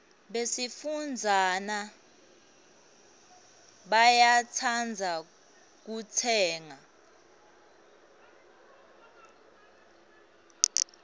besifazana bayatsandza kutsenga